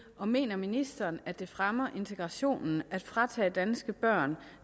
og mener ministeren at det fremmer integrationen at fratage danske børn